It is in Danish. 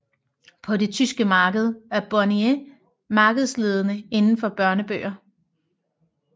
På det tyske marked er Bonnier markedsledende indenfor børnebøger